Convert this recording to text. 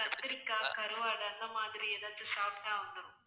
கத்திரிக்காய், கருவாடு அந்த மாதிரி ஏதாவது சாப்பிட்டா வந்துரும்